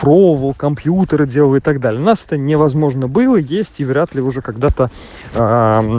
про бывал компьютер делаю так далее нас это невозможно было есть и вряд ли уже когда-то а